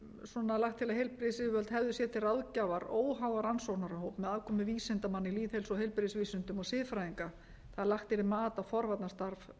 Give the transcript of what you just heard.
heilbrigðisyfirvöld hefðu sér til ráðgjafar óháðan rannsóknarhóp með aðkomu vísindamanna í lýðheilsu og heilbrigðisvísindum og siðfræðinga að lagt yrði mat á forvarnarstarf